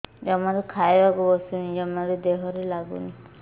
ଜମାରୁ ଖାଇବାକୁ ବସୁନି ଜମାରୁ ଦେହରେ ଲାଗୁନି